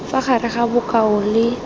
fa gare ga bokao le